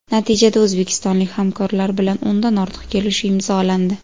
Natijada o‘zbekistonlik hamkorlar bilan o‘ndan ortiq kelishuv imzolandi.